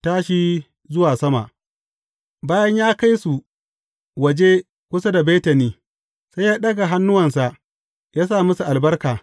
Tashi zuwa sama Bayan ya kai su waje kusa da Betani, sai ya ɗaga hannuwansa ya sa musu albarka.